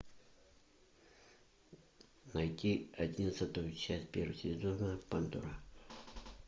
найти одиннадцатую часть первого сезона пандора